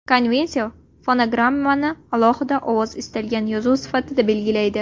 Konvensiya fonogrammani alohida ovozli istalgan yozuv sifatida belgilaydi.